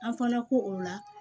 An fana ko o la